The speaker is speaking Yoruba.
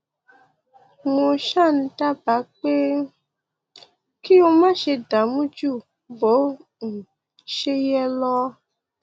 mo ṣáà ń dábàá pé kí o máṣe dààmú ju bó um ṣe yẹ lọ